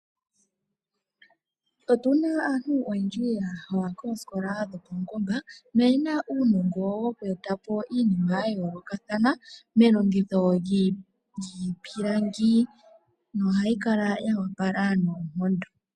Otuna aantu oyendji yaha koosikola dhopaungomba na oyena uunongo woku etapo iinima ya yoolokathana melongitho lyiipilangi, nohayi kala ya opala noonkondo.